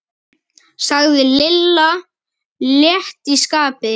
sagði Lilla létt í skapi.